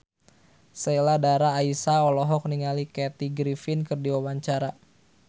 Sheila Dara Aisha olohok ningali Kathy Griffin keur diwawancara